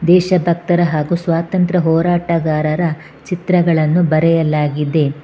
ದೇಶತತ್ತರ ಹಾಗು ಸ್ವಾತಂತ್ರ್ಯ ಹೋರಾಟಗಾರರ ಚಿತ್ರಗಳನ್ನು ಬರೆಯಲಾಗಿದೆ.